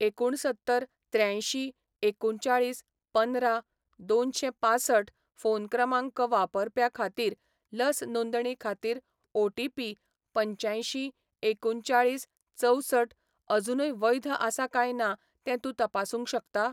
एकुणसत्तर, त्र्यांयशीं, एकुणचाळीस, पंदरा, दोनशें पांसठ फोन क्रमांक वापरप्या खातीर लस नोंदणी खातीर ओ.टी.पी. पंच्यांयशीं, एकुणचाळीस, चवसट अजूनय वैध आसा काय ना तें तूं तपासूंक शकता?